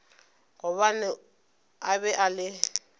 gobane a be a le